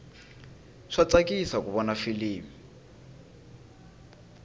swa tsakisa ku vona filimi